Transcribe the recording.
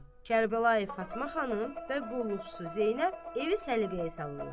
Kərbəlayı Fatma xanım və qulluqçu Zeynəb evi səliqəyə salırlar.